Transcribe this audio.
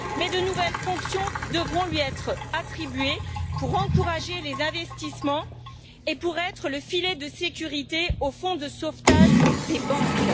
Mais de nouvelles fonctions devront lui être attribuées pour encourager les investissements et être le filet de sécurité du fonds de sauvetage des banques.